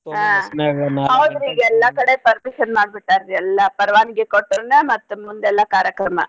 ಕಡೆ permission ಮಾಡ್ಬಿಟ್ಟಾರ್ರಿ ಎಲ್ಲಾ ಪರ್ವಾನ್ಗಿ ಕೊಟ್ರೆನೇ ಮತ್ತ್ ಮುಂದೆಲ್ಲಾ ಕಾರ್ಯಕ್ರಮ.